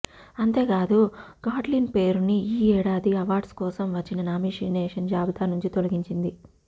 అంతేకాదు గాట్లిన్ పేరుని ఈ ఏడాది అవార్డ్స్ కోసం వచ్చిన నామినేషన్స్ జాబితా నుంచి తొలగించింది